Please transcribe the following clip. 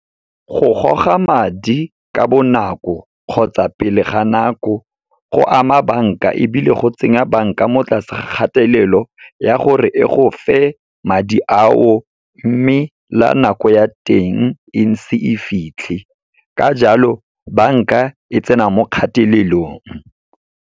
Go goga madi ka bonako kgotsa pele ga nako, go ama banka ebile go tsenya banka mo tlase ga kgatelelo ya gore e go fe madi ao, mme la nako ya teng e ise e fitlhe, ka jalo banka e tsena mo kgatelelong.